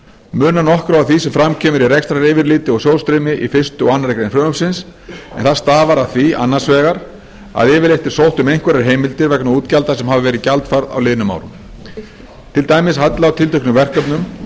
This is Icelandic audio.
munar nokkru á því sem fram kemur í rekstraryfirliti og sjóðsstreymi í fyrsta og aðra grein frumvarpsins en það stafar af því annars vegar að yfirleitt er sótt um einhverjar heimildir vegna útgjalda sem hafa verið gjaldfærð á liðnum árum til dæmis halla á tilteknum verkefnum